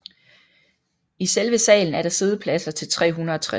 I selve salen er der siddepladser til 360